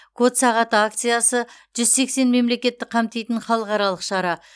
код сағаты акциясы жүз сексен мемлекетті қамтитын халықаралық шара